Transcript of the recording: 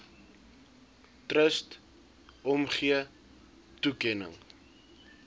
trust omgee toekenning